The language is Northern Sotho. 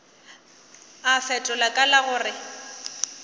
a fetola ka la gore